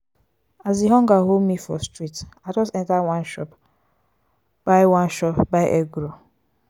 as di hunger hold me for street i just enta one shop buy one shop buy egg roll.